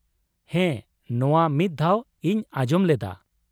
ᱦᱮᱸ, ᱱᱚᱶᱟ ᱢᱤᱫ ᱫᱷᱟᱣ ᱤᱧ ᱟᱸᱡᱚᱢ ᱞᱮᱫᱟ ᱾